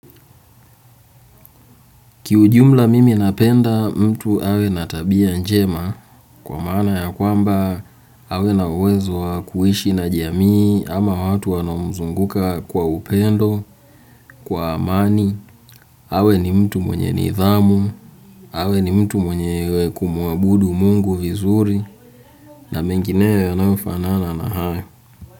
Kiujumla mimi napenda mtu awe na tabia njema kwa maana ya kwamba awe na uwezo wa kuishi na jamii ama watu wanaomzunguka kwa upendo kwa amani, awe ni mtu mwenye nidhamu, awe ni mtu mwenye kumuabudu Mungu vizuri na mengineyo yanayo fanana na hayo.